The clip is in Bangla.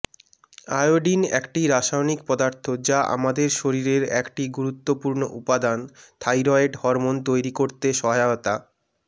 আয়োডিন একটি রাসায়নিক পদার্থ যা আমাদের শরীরের একটি গুরুত্বপূর্ণ উপাদান থায়রয়েড হরমোন তৈরি করতে সহায়তা